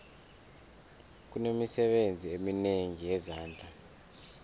kunemisebenzi eminengi yezandla